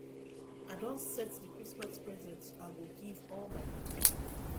i don set the christmas presents i go give all my pikin